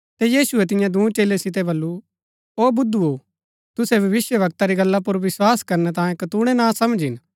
ता यीशुऐ तियां दूँ चेलै सितै बल्लू ओ बुदुओ तुसै भविष्‍यवक्ता री गल्ला पुर विस्वास करनै तांई कतूणैं नासमझ हिन